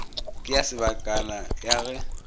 ke ya sebakana ya ge